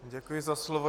Děkuji za slovo.